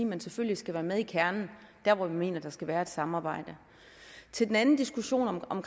man selvfølgelig skal være med i kernen der hvor vi mener der skal være et samarbejde til den anden diskussion om